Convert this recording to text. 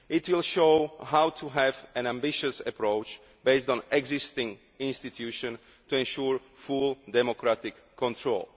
It will show how to have an ambitious approach, based on existing institutions to ensure full democratic control.